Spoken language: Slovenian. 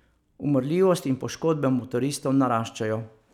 Umrljivost in poškodbe motoristov naraščajo.